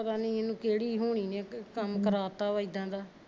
ਪਤਾ ਨਹੀਂ ਇਹਨੂੰ ਕਿਹੜੀ ਹੋਣੀ ਨੇ ਕੰਮ ਕਰਾਤਾ ਵਾ ਇੱਦਾਂ ਦਾ